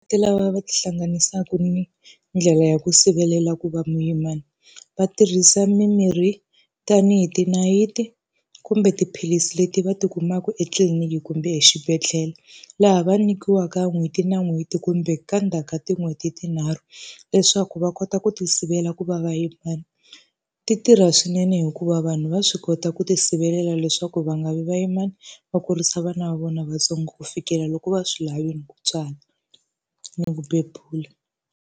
Lava ti hlanganisaka ni ndlela ya ku sivelela ku va muyimana, va tirhisa mimirhi tanihi tinayiti, kumbe tiphilisi leti va ti kumaka etliliniki kumbe exibedhlele. Laha va nyikiwaka n'hweti na n'hweti kumbe ka endzhaku ka tin'hweti tinharhu, leswaku va kota ku tisivela ku va va yimani. Ti tirha swinene hikuva vanhu va swi kota ku tisivelela leswaku va nga vi vayimana va kurisa vana va vona vantsongo ku fikela loko va swi lavile ku tswala ni ku bebula.